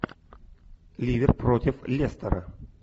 ливер против лестера